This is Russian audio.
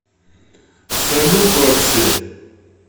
салют вообще